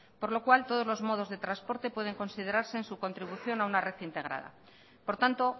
por lo cual todos los modos de transporte pueden considerarse en su contribución a una red integrada por tanto